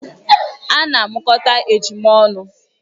Ana amụkọta ejima ọnụ